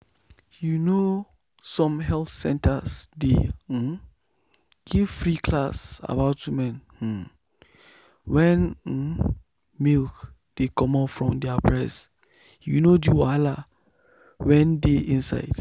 you know some health center dey um give free class about women um wen um milk dey comot from their breast you know the wahala wen dey inside.